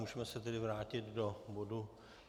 Můžeme se tedy vrátit do bodu